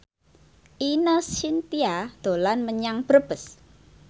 Ine Shintya dolan menyang Brebes